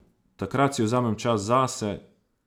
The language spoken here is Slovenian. Takrat si vzamem čas zase.